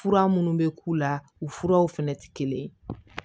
Fura minnu bɛ k'u la u furaw fɛnɛ tɛ kelen ye